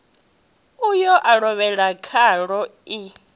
uyo a lovhela khaḽo i